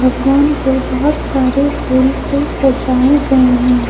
भगवान को बहोत सारे फूल से सजाए गए हैं।